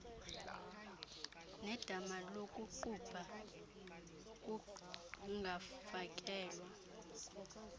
nedama lokuqubha kungafakelwa